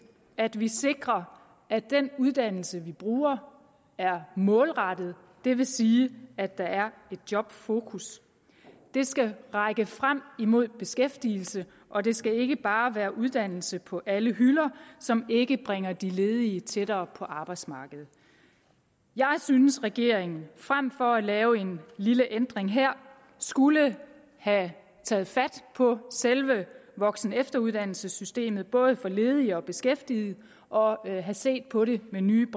at vi sikrer at den uddannelse vi bruger er målrettet det vil sige at der er et jobfokus det skal række frem imod beskæftigelse og det skal ikke bare være uddannelse på alle hylder som ikke bringer de ledige tættere på arbejdsmarkedet jeg synes at regeringen frem for at lave en lille ændring her skulle have taget fat på selve voksenefteruddannelsesystemet både for ledige og for beskæftigede og have set på det med nye